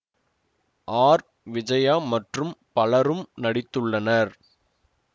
R Vijaya மற்றும் பலரும் நடித்துள்ளனர்